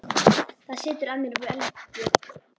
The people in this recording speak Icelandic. Það setur að mér velgju.